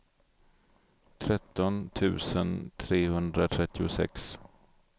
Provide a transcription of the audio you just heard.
tretton tusen trehundratrettiosex